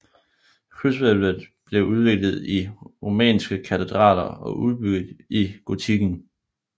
Krydshvælvet blev udviklet i romanske katedraler og blev udbygget i gotikken